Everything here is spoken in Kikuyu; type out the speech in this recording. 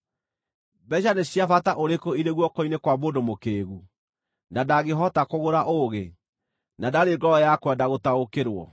Mbeeca nĩ cia bata ũrĩkũ irĩ guoko-inĩ kwa mũndũ mũkĩĩgu, na ndangĩhota kũgũra ũũgĩ, na ndarĩ ngoro ya kwenda gũtaũkĩrwo?